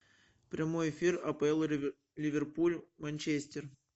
прямой эфир апл ливерпуль манчестер